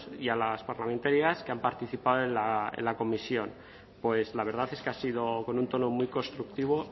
y a las parlamentarias que han participado en la comisión pues la verdad es que ha sido con un tono muy constructivo